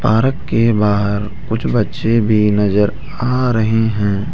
Park के बाहर कुछ बच्चे भी नजर आ रहे हैं।